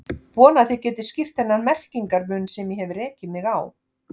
Vona að þið getið skýrt þennan merkingar mun sem ég hef rekið mig á.